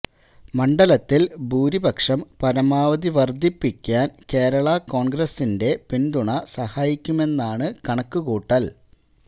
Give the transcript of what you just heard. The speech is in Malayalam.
മണ്ഡലത്തില് ഭൂരിപക്ഷം പരമാവധി വര്ധിപ്പിക്കാന് കേരള കോണ്ഗ്രസിന്റെ പിന്തുണ സഹായിക്കുമെന്നാണു കണക്കുകൂട്ടല്